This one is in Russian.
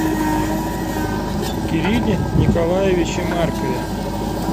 кирилле николаевиче маркове